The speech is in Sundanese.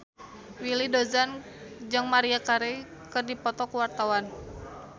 Willy Dozan jeung Maria Carey keur dipoto ku wartawan